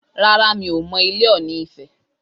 Rárá, mi ò mọ ilé Ọ̀ọ̀nì ifẹ̀